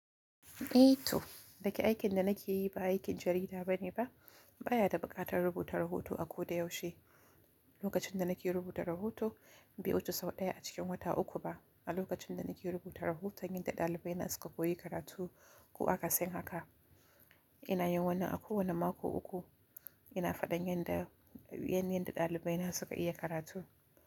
Eh to, daga aikin da nake yi ba aikin jarida bane ba. Ba ya da buƙatar rubuta rahoto a ko da yaushe. Lokacin da nake rubuta rahoto, bai wuce sau ɗaya a cikin wata uku ba. A lokacin da nake rubuta rahoton yadda ɗalibai na suka ce koyi karatu ko akasin haka, ina yin wannan a kowane mako uku. Ina faɗan yan da, yan yadda ɗalibai na suka iya karatu.